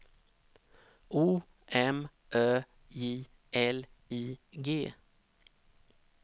O M Ö J L I G